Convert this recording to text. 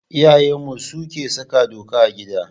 Iyayenmu suke saka doka a gida.